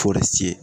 Fo ka se